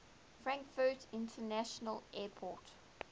frankfurt international airport